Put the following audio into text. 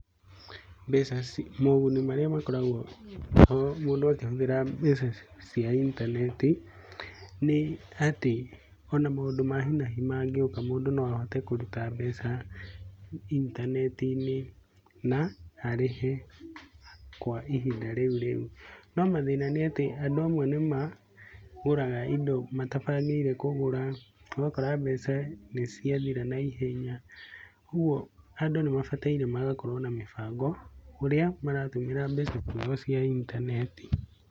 Moguni marĩa makoragwo ho mũndũ akĩhũthĩra mbeca cia intaneti, nĩ atĩ ona maũndũ ma hinahi mangĩoka mũndũ no ahote kũruta mbeca intaneti-inĩ na arĩhe kwa ihinda rĩu rĩu, no mathĩna ni atĩ andũ amwe nĩ magũraga matabangĩire kũgũra ũgakora mbeca nĩ ciathĩra na ihenya kogũo andũ nĩ mabataire magakorwo na mĩbango ũrĩa marahũthĩra mbeca ciao cia intaneti.